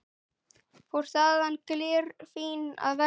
Fór þaðan glerfín að versla.